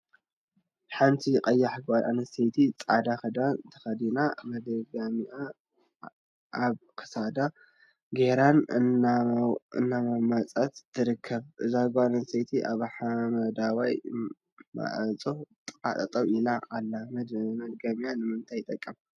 ሓንቲ ቀያሕ ጓል አንስተይቲ ፃዕዳ ክዳን ተከዲና ፤ መድገሚያ አብ ክሳዳ ገይራን ስና እናመወፀትን ትርከብ፡፡ እዛ ጓል አነስተይቲ አብ ሓመደዋይ ማዕፆ ጥቃ ጠጠው ኢላ አላ፡፡ መድገምያ ንምንታይ ይጠቅም?